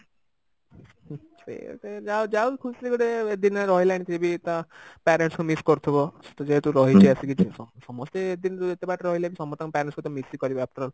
ସେ ଯାଉ ଖୁସିରେ ଗୋଟେ ଏତେଦିନ ରହିଲାଣି फिर भी ତା parents ଙ୍କୁ miss କରୁଥିବ ସେ ତ ଯେହେତୁ ରହିଛି ଆସିକି ସମସ୍ତେ ଏତେଦିନ ଏତେବାଟ ରହିଲେ ବି ସମସ୍ତେ parents ଙ୍କୁ ତ miss ହିଁ କରିବେ after